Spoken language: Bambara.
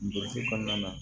Burusi kɔnɔna na